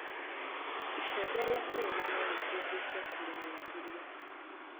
Icembe rĩa kurĩma no rihuthĩke kũrĩmĩra irio